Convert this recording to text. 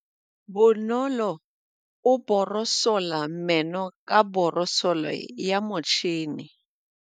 Bonolô o borosola meno ka borosolo ya motšhine.